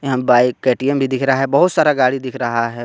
यह bike A T M भी दिख रहा है बहुत सारा गाड़ी दिख रहा है बा --